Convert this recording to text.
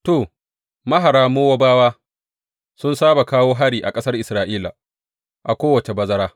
To, mahara Mowabawa sun saba kawo hari a ƙasar Isra’ila a kowace bazara.